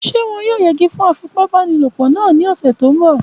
Ṣé wọn yóò yẹgi fún afipábanílòpọ̀ náà ní ọ̀sẹ̀ tó n bọ̀?